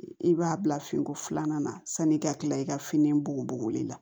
I b'a bila finiko filanan na sanni i ka kila i ka fini bugubuguli la